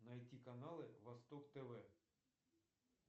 найти каналы восток тв